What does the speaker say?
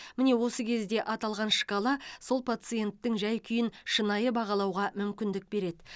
міне осы кезде аталған шкала сол пациенттің жай күйін шынайы бағалауға мүмкіндік береді